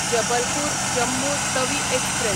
Jabalpur Jammu Tawi express